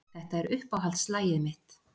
Þetta er uppáhaldslagið mitt.